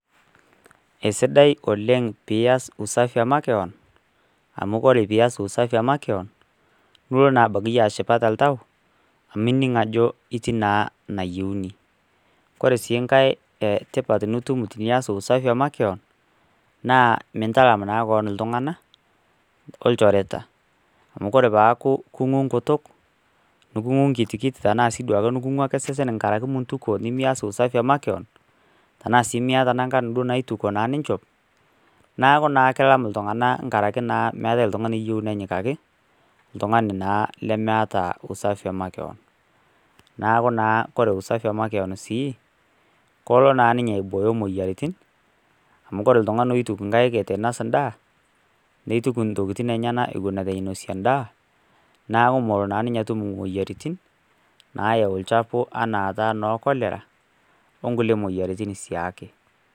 Esidai oleng' piyas usafi emakeon, amuu ore piyas usafi emakeon duo naintoki iyie ashipa toltau amu ining' ajo itiii naa nayeuni. Ore siii nkae tipat teniyas usafi ee makeon naa mintalam naa keon iltung'ana olchoreta, amuu oree paaku king'u nkutuk, iking'u nkitikit , king'u ake osesen tankaraki mintukuo nemiyas usafi ee makeon anaa sii miyata nkilani naitukuo ninchop nakuu naa kilam iltung'ana tankaraki naa meeta oltung'ani oyieu nenyikaki oltung'ani naa lemeta usafi ee makeon. Neeku naa ore usafi ee makeon sii kalo naa aiboyo niniye kulie moyiaritin amu koree iltung'ana loituku ng'aik eitu noos edaa nituku ntokitin enyena eton eitu inosie edaa neeku melo naa ninye atum moyiaritin nayu olchafu enaa no cholera oo nkukie moyiaritin siake.